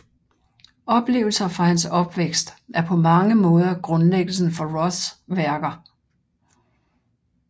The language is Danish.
Oplevelser fra hans opvækst er på mange måder grundlæggelsen for Roths værker